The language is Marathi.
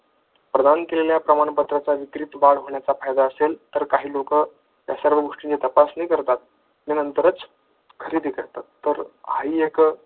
प्रदान केलेल्या प्रमाणपत्राचा वितरित होण्याचा फायदा असेल तर लोक सर्व गोष्टीची तपासणी करतात व नंतरच खरेदी करतात त्यात हा ही एक